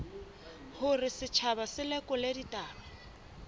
hore setjhaba se lekole ditaba